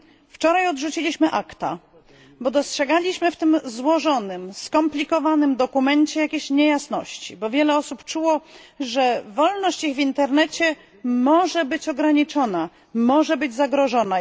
Wczoraj odrzuciliśmy ACTA, bo dostrzegaliśmy w tym złożonym i skomplikowanym dokumencie jakieś niejasności, bo wiele osób czuło, że ich wolność w internecie może być ograniczona i zagrożona.